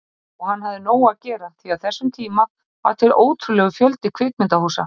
Og hann hafði nóg að gera því á þessum tíma var til ótrúlegur fjöldi kvikmyndahúsa.